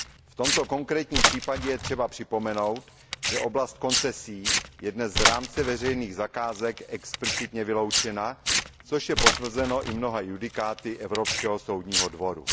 V tomto konkrétním případě je třeba připomenout, že oblast koncesí je dnes z rámce veřejných zakázek explicitně vyloučena, což je potvrzeno i mnoha judikáty Evropského soudního dvora.